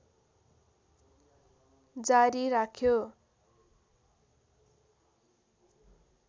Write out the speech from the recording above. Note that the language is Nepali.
जारी राख्यो